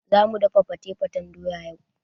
Zamu dafa fate-fatan doya yau.